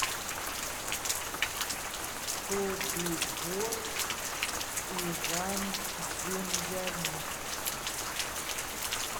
собибор иван демьянюк